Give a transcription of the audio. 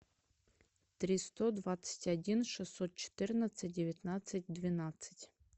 три сто двадцать один шестьсот четырнадцать девятнадцать двенадцать